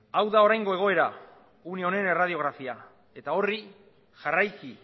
hau da oraingo egoera une honen erradiografia eta horri jarraiki